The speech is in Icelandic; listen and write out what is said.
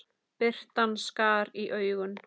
Birtan skar í augun.